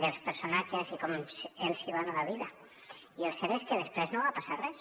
dels personatges i com els va anar la vida i el cert és que després no va passar res